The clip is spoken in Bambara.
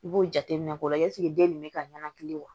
I b'o jateminɛ k'o la ɛseke den nin bɛ ka ɲanakili wa